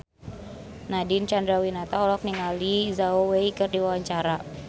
Nadine Chandrawinata olohok ningali Zhao Wei keur diwawancara